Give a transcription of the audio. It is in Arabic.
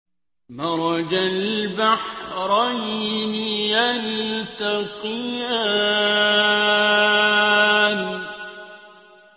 مَرَجَ الْبَحْرَيْنِ يَلْتَقِيَانِ